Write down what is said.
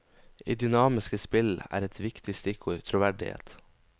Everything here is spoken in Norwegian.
I dynamiske spill er et viktig stikkord troverdighet.